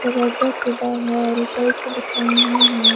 वाजा के बाहर टाइल्स बिछाई हुई है।